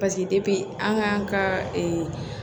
Paseke depi an k'an ka